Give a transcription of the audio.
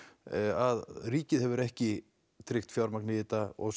að ríkið hefur ekki tryggt fjármagn í þetta og